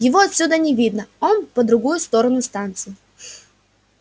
его отсюда не видно он по другую сторону станции